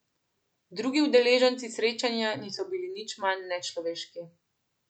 Drugi udeleženci srečanja niso bili nič manj nečloveški.